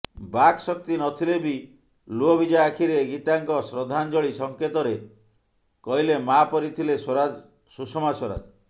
ବାକ୍ ଶକ୍ତି ନଥିଲେ ବି ଲୁହଭିଜା ଆଖିରେ ଗୀତାଙ୍କ ଶ୍ରଦ୍ଧାଞ୍ଜଳି ସଂକେତରେ କହିଲେ ମାଆ ପରି ଥିଲେ ସୁଷମା ସ୍ୱରାଜ